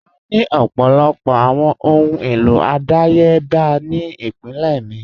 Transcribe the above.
À ní ọ̀pọ̀lọpọ̀ awọn ọhun elo adáyèbà ni ìpínlẹ̀ mi.